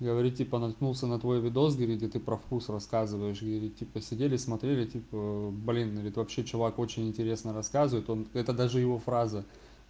говорит типа наткнулся на твой видео говорит где ты про вкус рассказываешь говорит типа сидели смотрели типа блин говорит вообще человек очень интересно рассказывает он это даже его фраза